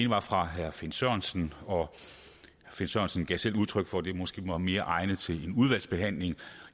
var fra herre finn sørensen og finn sørensen gav selv udtryk for at det måske var mere egnet til en udvalgsbehandling